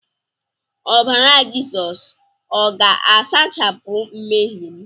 Obara-Jesu o ga-asachapụ nmehiem?